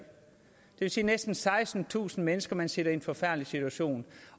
vil sige næsten sekstentusind mennesker man sætter i en forfærdelig situation